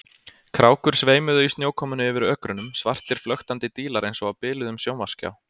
Krákur sveimuðu í snjókomunni yfir ökrunum, svartir flöktandi dílar eins og á biluðum sjónvarpsskjá.